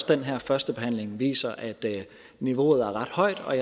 den her førstebehandling viser at niveauet er ret højt og